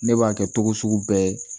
Ne b'a kɛ cogo sugu bɛɛ ye